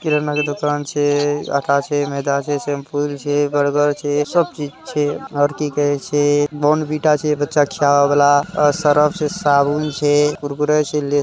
किराना का दुकान आटा है मैदा है शैंपू है। बर्गर है सब चीज है आरती कर रहा है बोर्नविटा है बच्चे को खिलाने वाला सर्फ है साबुन है कुरकुरे से--